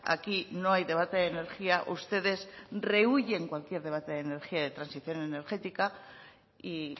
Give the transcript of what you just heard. aquí no hay debate de energía ustedes rehúyen cualquier debate de energía de transición energética y